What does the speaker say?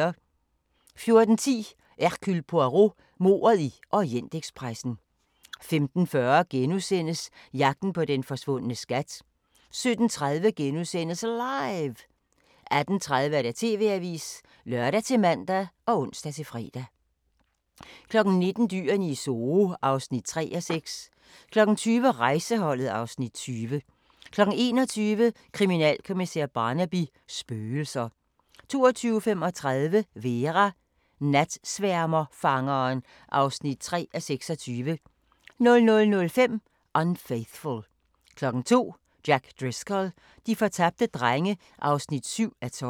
14:10: Hercule Poirot: Mordet i Orientekspressen 15:40: Jagten på den forsvundne skat * 17:30: LIVE! * 18:30: TV-avisen (lør-man og ons-fre) 19:00: Dyrene i Zoo (3:6) 20:00: Rejseholdet (Afs. 20) 21:00: Kriminalkommissær Barnaby: Spøgelser 22:35: Vera: Natsværmerfangeren (3:26) 00:05: Unfaithful 02:00: Jack Driscoll - de fortabte drenge (7:12)